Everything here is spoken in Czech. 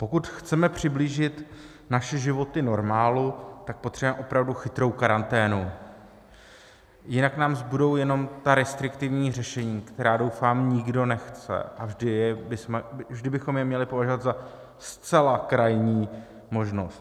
Pokud chceme přiblížit naše životy normálu, tak potřebujeme opravdu chytrou karanténu, jinak nám zbudou jenom ta restriktivní řešení, která, doufám, nikdo nechce, a vždy bychom je měli považovat za zcela krajní možnost.